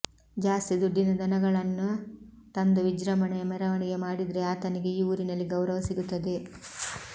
ಜಾಸ್ತಿ ದುಡ್ಡಿನ ದನಗಳನ್ನ ತಂದು ವಿಜೃಂಭಣೆಯ ಮೆರವಣಿಗೆ ಮಾಡಿದ್ರೆ ಆತನಿಗೆ ಈ ಊರಿನಲ್ಲಿ ಗೌರವ ಸಿಗುತ್ತದೆ